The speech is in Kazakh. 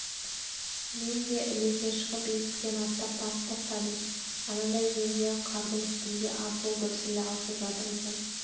мен де ілесе шығып есіктен аттап барып тоқтадым анадай жерде ақ қардың үстінде арсыл-гүрсіл алысып жатыр екен